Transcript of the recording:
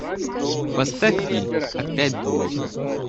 поставь фильм опять двойка